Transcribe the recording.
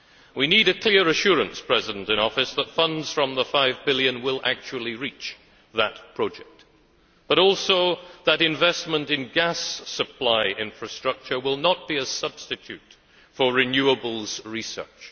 We need a clear assurance from the President in Office that funds from the EUR 5 billion will actually reach that project, but also that investment in gas supply infrastructure will not be a substitute for renewables research.